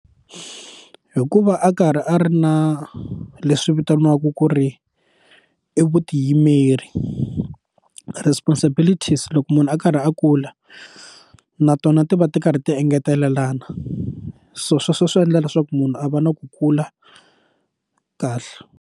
Hikuva a karhi a ri na leswi vitaniwaka ku ri i vutiyimeri responsibility se loko munhu a karhi a kula na tona ti va ti karhi ti engetelelana so sweswo swi endla leswaku munhu a va na ku kula kahle.